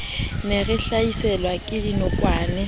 ne re hlaselwa ke dinokwane